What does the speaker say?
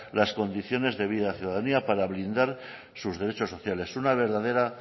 las condiciones de vida de la ciudadanía para blindar sus derechos sociales una verdadera